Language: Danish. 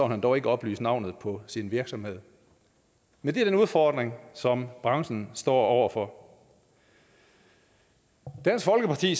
han dog ikke oplyse navnet på sin virksomhed men det er den udfordring som branchen står over for dansk folkeparti